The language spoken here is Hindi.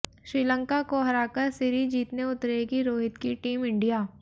श्रीलंका को हराकर सीरीज जीतने उतरेगी रोहित की टीम इंडिया